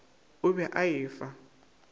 o be a e fa